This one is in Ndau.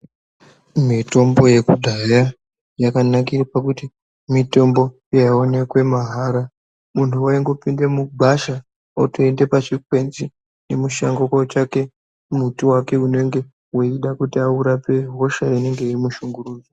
Mitombo yekudhaya yakanakire pakuti mitombo yaionekwe mahara muntu waingopinde mugwasha otoende pachikwenzi nemushango kotsvake muti wake unenge weida kuti aurape hosha inenge yeimushungurudza.